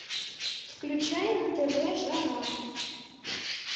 включай на тв жара